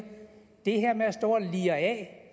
det her med at stå og lire af